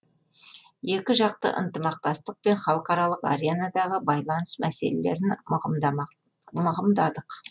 екіжақты ынтымақтастық пен халықаралық аренадағы байланыс мәселелерін мығымдадық